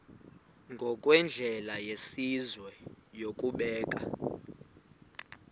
ngokwendlela yesizwe yokubeka